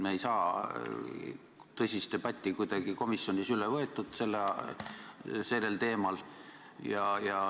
Me ei saa tõsist debatti kuidagi komisjonis üles võetud sellel teemal.